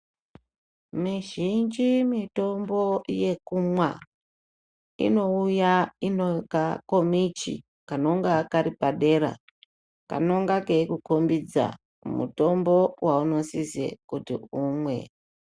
Mizhinji mitombo yelumwa inouya inekakomichi kanonga kari padera kanonga keikukhombidza mutombo waunosise kuti umwe.